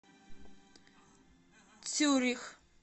цюрих